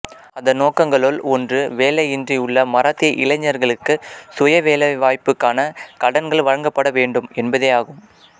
அதன் நோக்கங்களுள் ஒன்று வேலையின்றி உள்ள மராத்திய இளைஞர்களுக்கு சுயவேலைவாய்ப்புக்கான கடன்கள் வழங்கப்படவேண்டும் என்பதேயாகும்